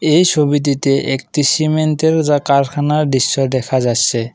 এই ছবিটিতে একটি সিমেন্টের যা কারখানার দৃশ্য দেখা যাচ্ছে।